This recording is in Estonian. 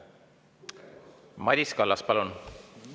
Madis Kallas, palun!